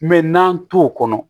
Mɛ n'an t'o kɔnɔ